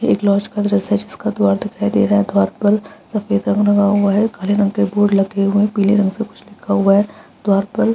एक लॉज का दृश्य है जिसका द्वार दिखाई दे रहा है द्वार पर सफ़ेद रंग रंगा हुआ है काले रंग के बोर्ड लगे हुए हैं पीले रंग के कुछ लिखा हुआ है द्वार पर --